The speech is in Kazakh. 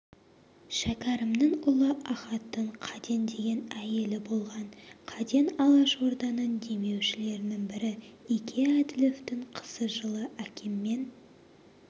шәкәрімнің ұлы ахаттың қаден деген әйелі болған қаден алашорданың демеушілерінің бірі ике әділовтің қызы жылы әкеммен